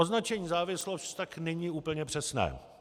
Označení závislost tak není úplně přesné.